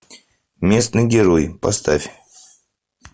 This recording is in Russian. местный герой поставь